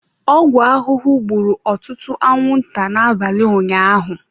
Ọgwụ ahụhụ gburu ọtụtụ anwụnta n'abalị ụnyaahụ.